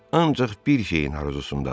Ancaq bir şeyin arzusunadadır.